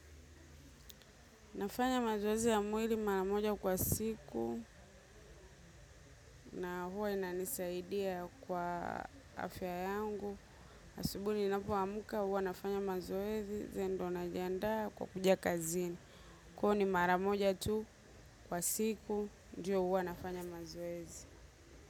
Nafanya mazoezi ya mwili mara moja kwa siku, na huwa inanisaidia kwa afya yangu. Asubuhi ninapoamka huwa nafanya mazoezi ndio najiandaa kwa kuja kazini. Kwa hivo ni mara moja tu kwa siku ndio huwa nafanya mazoezi.